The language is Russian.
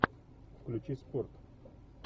включи спорт